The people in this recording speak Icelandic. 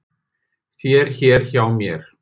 þér hér hjá mér